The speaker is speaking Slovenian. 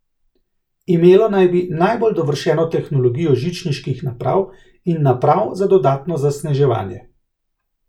Imelo naj bi najbolj dovršeno tehnologijo žičniških naprav in naprav za dodatno zasneževanje.